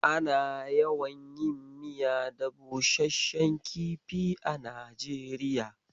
Ana yawan yin miya da busasshen kifi a Najeriya